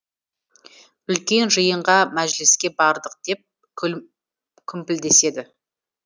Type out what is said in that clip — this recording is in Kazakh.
үлкен жиынға мәжіліске бардық деп күмпілдеседі